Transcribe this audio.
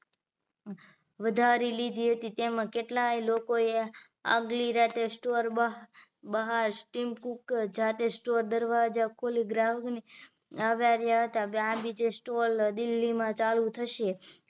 વધારી લીધી હતી તેમાં કેટલાય લોકોએ આગલી રાતે store બહાર team cook સાથે દરવાજા ખોલી ગ્રાહકોને આવકાર્યા હતા આ બીજે store દિલ્હીમાં ચાલુ થશે